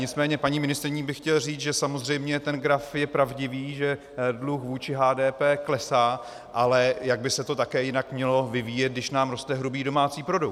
Nicméně paní ministryni bych chtěl říct, že samozřejmě ten graf je pravdivý, že dluh vůči HDP klesá, ale jak by se to také jinak mělo vyvíjet, když nám roste hrubý domácí produkt?